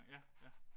Ja ja